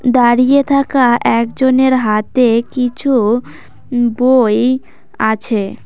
দাঁড়িয়ে থাকা একজনের হাতে কিছু বই আছে।